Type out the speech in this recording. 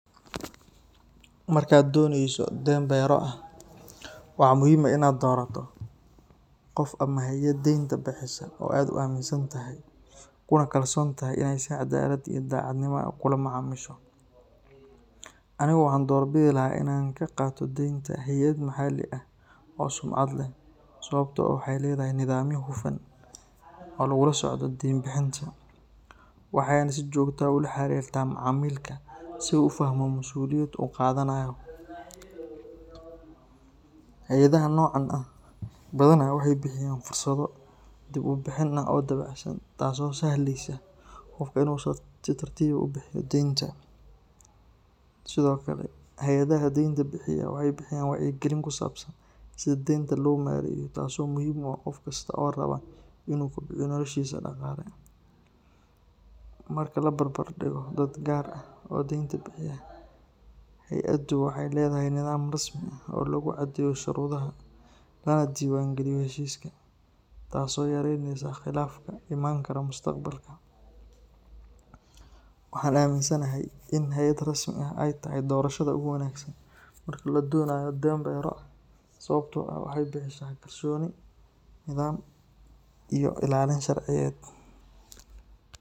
Markaad doonayso deyn beryo ah, waxaa muhiim ah inaad doorato qof ama hay’ad deynta bixisa oo aad aaminsan tahay, kuna kalsoontahay inay si caddaalad iyo daacadnimo ah kula macaamisho. Anigu waxaan doorbidi lahaa inaan ka qaato deynta hay’ad maxalli ah oo sumcad leh, sababtoo ah waxay leedahay nidaamyo hufan oo lagula socdo deyn bixinta, waxayna si joogto ah u la xiriirtaa macmiilka si uu u fahmo masuuliyadda uu qaadanayo. Hay’adaha noocan ah badanaa waxay bixiyaan fursado dib u bixin ah oo dabacsan, taasoo u sahlaysa qofka inuu si tartiib ah u bixiyo deynta. Sidoo kale, hay’adaha deynta bixiya waxay bixiyaan wacyigelin ku saabsan sida deynta loo maareeyo, taas oo muhiim u ah qof kasta oo raba inuu kobciyo noloshiisa dhaqaale. Marka la barbar dhigo dad gaar ah oo deyn bixiya, hay’addu waxay leedahay nidaam rasmi ah oo lagu caddeeyo shuruudaha, lana diiwaangeliyo heshiiska, taasoo yareyneysa khilaafaadka iman kara mustaqbalka. Waxaan aaminsanahay in hay’ad rasmi ah ay tahay doorashada ugu wanaagsan marka la doonayo deyn beryo ah sababtoo ah waxay bixisaa kalsooni, nidaam iyo ilaalin sharciyeed.